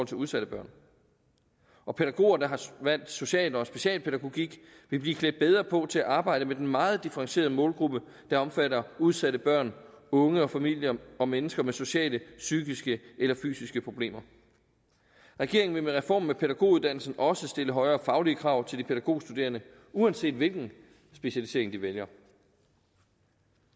til udsatte børn og pædagoger der har valgt social og specialpædagogik vil blive klædt bedre på til at arbejde med den meget differentierede målgruppe der omfatter udsatte børn unge og familier og mennesker med sociale psykiske eller fysiske problemer regeringen vil med reformen af pædagoguddannelsen også stille højere faglige krav til de pædagogstuderende uanset hvilken specialisering de vælger